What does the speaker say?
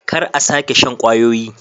Kar a sake shan kwayoyi.